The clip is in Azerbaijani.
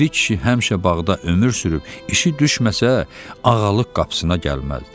Piri kişi həmişə bağda ömür sürüb, işi düşməsə, Ağalıq qapısına gəlməzdi.